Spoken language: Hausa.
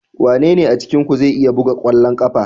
Wanene a cikinku zai iya buga kwallon kafa?